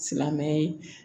Silamɛmɛ